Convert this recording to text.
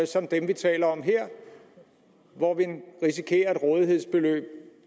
som dem vi taler om her hvor vi risikerer et rådighedsbeløb